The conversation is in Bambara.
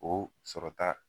O sɔrɔta